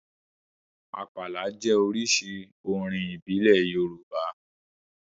Àpàlà jẹ́ oríṣi orin ìbílẹ̀ Yorùbá